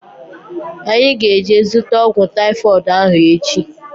Anyị ga-eje zụta ọgwụ taifọdụ ahu echi